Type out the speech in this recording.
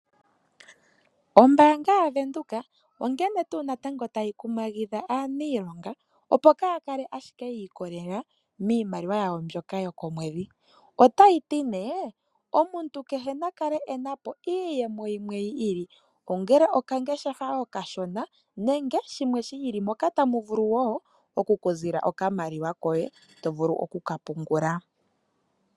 Ombaanga yaVenduka onkene tuu natango tayi kumagidha aaniilonga opo kaa ya kale ashike ya ikolelela miimaliwa yawo mbyoka yokomwedhi. Otayi ti nee omuntu kehe na kale e na po iiyemo yimwe yi ili , ongele okangeshefa okashona nenge shimwe shi ili moka tamu ku zile okamaliwa koye to vulu oku ka pungula.